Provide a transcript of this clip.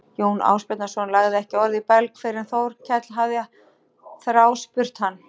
Jón Ásbjarnarson lagði ekki orð í belg fyrr en Þórkell hafði þráspurt hann.